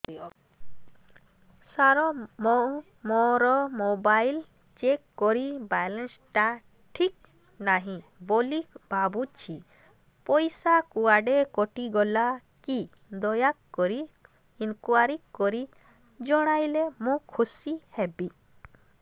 ସାର ମୁଁ ମୋର mobile check କଲି ବାଲାନ୍ସ ଟା ଠିକ ନାହିଁ ବୋଲି ଭାବୁଛି ପଇସା କୁଆଡେ କଟି ଗଲା କି ଦୟାକରି ଇନକ୍ୱାରି କରି ଜଣାଇଲେ ମୁଁ ଖୁସି ହେବି